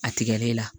A tigɛli la